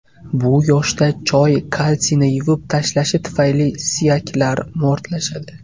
Bu yoshda choy kalsiyni yuvib tashlashi tufayli suyaklar mo‘rtlashadi.